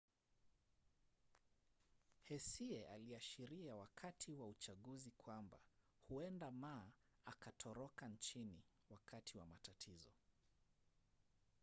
hsieh aliashiria wakati wa uchaguzi kwamba huenda ma akatoroka nchini wakati wa matatizo